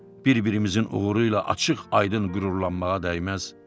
bir-birimizin uğuru ilə açıq-aydın qürurlanmağa dəyməz.